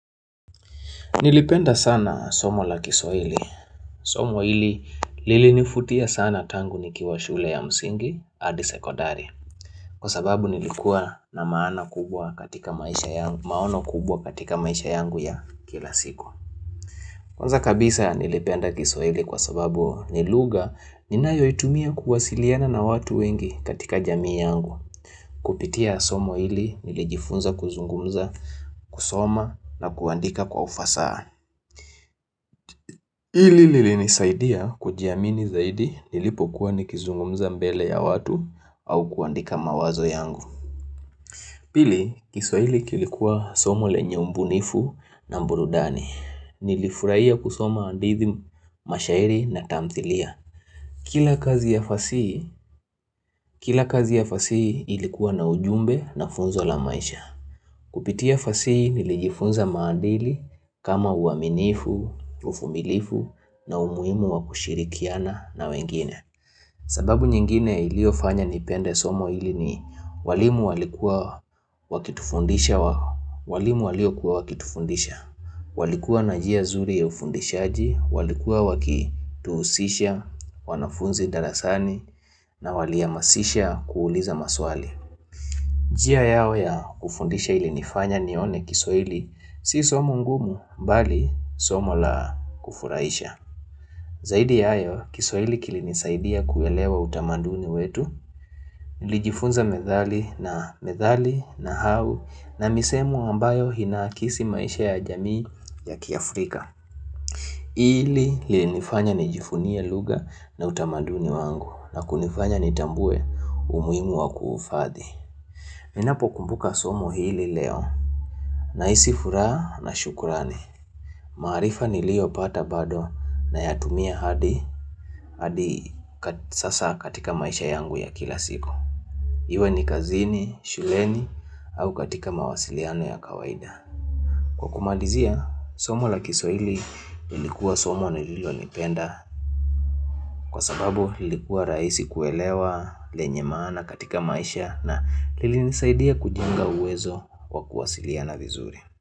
Nilipenda sana somo la kiswahili. Somo hili lilinivutia sana tangu nikiwa shule ya msingi, hadi sekodari. Kwa sababu nilikuwa na maana kubwa katika maisha yangu, maono kubwa katika maisha yangu ya kila siku. Kwanza kabisa nilipenda kiswahili kwa sababu ni lugHa ninayoitumia kuwasiliana na watu wengi katika jamii yangu. Kupitia somo hili nilijifunza kuzungumza, kusoma na kuandika kwa ufasaha. Hili lilinisaidia kujiamini zaidi nilipokuwa nikizungumza mbele ya watu au kuandika mawazo yangu. Pili, kiswahili kilikuwa somo lenye umbunifu na mburudani. Nilifurahia kusoma hadidhi, mashairi na tamthilia. Kila kazi ya fasihi, kila kazi ya fasihi ilikuwa na ujumbe na funzo la maisha. Kupitia fasihi nilijifunza maadili kama uaminifu, uvumilifu na umuhimu wa kushirikiana na wengine. Sababu nyingine iliyofanya nipende somo hili ni walimu walikuwa wakitufundisha. Walimu waliokuwa wakitufundisha walikuwa na njia zuri ya ufundishaji, walikuwa wakituhusisha wanafunzi darasani na walihamasisha kuuliza maswali. Njia yao ya kufundisha ilinifanya nione kiswahili, si somo ngumu bali somo la kufurahisha. Zaidi ya hayo, kiswahili kilinisaidia kuelewa utamaduni wetu, nilijifunza methali na methali, nahau na misemo ambayo inakisi maisha ya jamii ya kiafrika. Hili lilinifanya nijivunie lugha na utamaduni wangu na kunifanya nitambue umuhimu wa kuufathi. Ninapokumbuka somo hili leo nahisi furaha na shukrani. Maarifa niliyopata bado nayatumia hadi hadi sasa katika maisha yangu ya kila siku. Iwe ni kazini, shuleni au katika mawasiliano ya kawaida. Kwa kumalizia, somo la kiswahili lilikuwa somo nililolipenda. Kwa sababu ilikuwa rahisi kuelewa lenye maana katika maisha na lilinisaidia kujenga uwezo wa kuwasiliana vizuri.